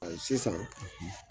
Sisan